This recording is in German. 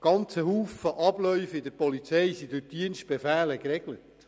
Sehr viele Abläufe in der Polizei sind durch Dienstbefehle geregelt.